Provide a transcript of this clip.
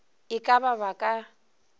e ka ba ba ka